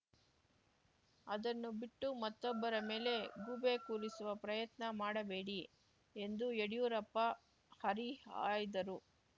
ಅದನ್ನು ಬಿಟ್ಟು ಮತ್ತೊಬ್ಬರ ಮೇಲೆ ಗೂಬೆ ಕೂರಿಸುವ ಪ್ರಯತ್ನ ಮಾಡಬೇಡಿ ಎಂದು ಯಡ್ಯೂರಪ್ಪ ಹರಿಹಾಯ್ದರು